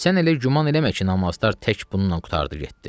Sən elə güman eləmə ki, namazlar tək bununla qurtardı, getdi.